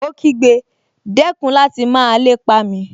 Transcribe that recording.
Ó kígbe, dẹ́kun láti máa lépa mi!